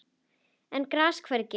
en gras hvergi